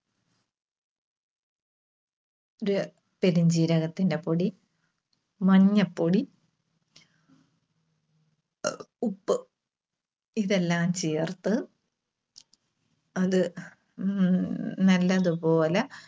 പെരുംജീരകത്തിന്റെ പൊടി, മഞ്ഞപ്പൊടി, ഉപ്പ് ഇതെല്ലാം ചേർത്ത് അത് ഉം നല്ലതുപോലെ